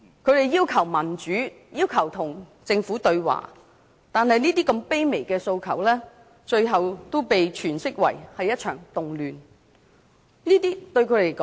他們要求民主及與政府對話，但如此卑微的訴求，最後都被詮釋為一場動亂。